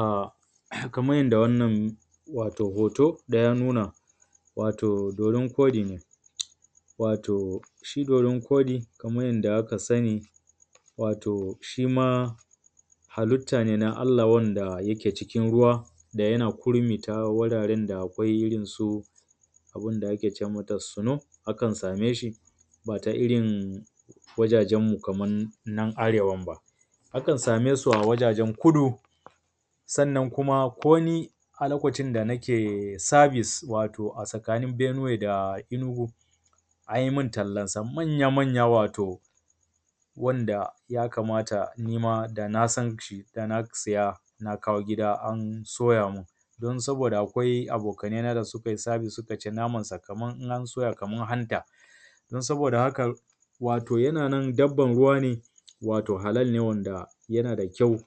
um kamar yadda wannan wato hoto da ya nuna wato dodon koɗi ne. wato shi dodon koɗi kaman yanda aka sani wato shima halitta ne na Allah wanda yake cikin ruwa da yana kurmi ta wuraren da akwai irrin su wato abunda akece mata suno bata irrin wajajen mu Kaman nan arewan ba. Akan sameshi wajajen kudu sannan koni a lokacin da nake sabis wato a tsakanin benuwe da inugu an yimun tallansa manya manya wato wanda yakamata nima dana sanshi dana siya na kawo gida a soyamun dan saboda akwai abokanai na da sukai sabis sukace namansa Kaman in an soya Kaman hanta. Dan saboda hakan wato yananan dabban ruwa ne wato cinsa halal ne wanda yana da kyau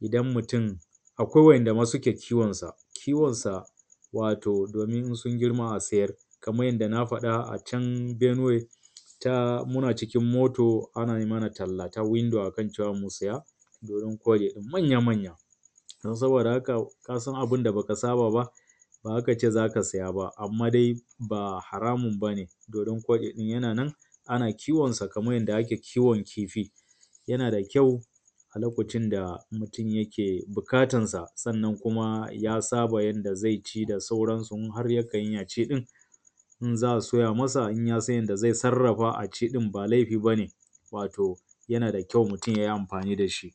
idan mutun akawi wa ‘yan’ dama suke kiwonsa, kiwon sa wato domin su girma a siyar Kaman yadda na faɗa acan benuwe muna cikin moto ana yimana talla ta wundo akan cewa musiya manya manya dan saboda haka kasan abunda baka saba ba, bazakace zaka siya ba amma dai ba haramun bane domin yana nan ana kiwon sakaman yanda ake kiwon kifi yana da kyau lokacin da mutun yake buƙatan sa sannan kuma ya saba yanda zaici da sauran su harya kai aceɗin in za’a soya masa in yasan yanda za’a sarrafa masa ɗin ba laifi bane wato yanada kyau mutun yayi amfani dashi.